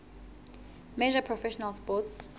major professional sports